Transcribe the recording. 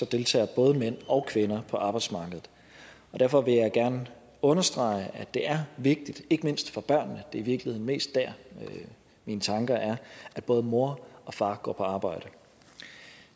deltager både mænd og kvinder på arbejdsmarkedet og derfor vil jeg gerne understrege at det er vigtigt ikke mindst for børnene det er i virkeligheden mest dér mine tanker er at både mor og far går på arbejde